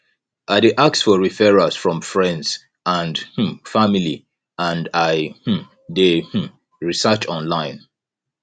i dey ask for referrals from friends and um family and i um dey um research online